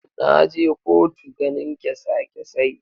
Na je kotu ganin kesa kesai.